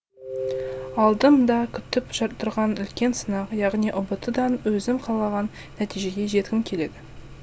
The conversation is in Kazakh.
алдым да күтіп жатырған үлкен сынақ яғни ұбт дан өзім қалаған нәтижеге жеткім келеді